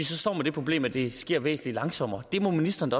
så står med det problem at det sker væsentlig langsommere ministeren